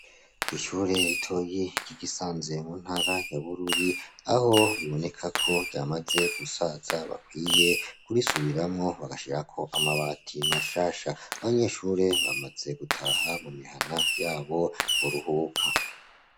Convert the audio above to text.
Kwishure ritoyi ryi Gisanze mu ntara ya Bururi aho biboneka ko ryamaze gusaza bakwiye kurisubiramwo bagashirako amabati mashasha, abanyeshure bamaze gutaha mu mihana yabo kuruhuka.